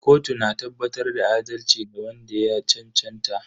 Kotu na tabbatar da adalci ga wanda ya cancanta.